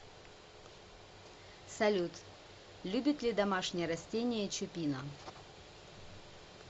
салют любит ли домашние растения чупина